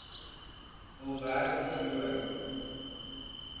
hul werk verloor